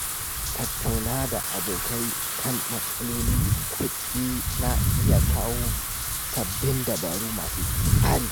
Tattaunawa da abokai a kan matsalolin kuɗi na iya kawo sabbin dabaru masu tsari.